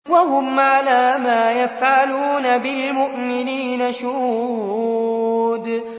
وَهُمْ عَلَىٰ مَا يَفْعَلُونَ بِالْمُؤْمِنِينَ شُهُودٌ